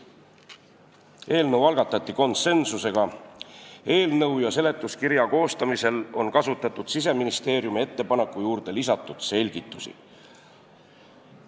Eelnõu algatati konsensuslikult, eelnõu ja seletuskirja koostamisel on kasutatud Siseministeeriumi ettepaneku juurde lisatud selgitusi.